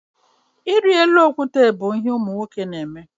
Ịrị elu okwute bụ ihe ụmụ nwoke na-eme.